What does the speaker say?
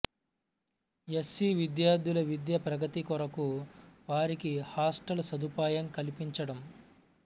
yes C విద్యార్థుల విద్యా ప్రగతి కొరకు వారికి హాస్టలు సదుపాయం కల్పించడం